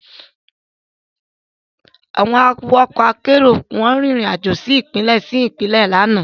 Àwọn awakọ̀ ọkọ akérò rìn rìn àjò lọ sí Ìpínlẹ̀ sí Ìpínlẹ̀ lánàá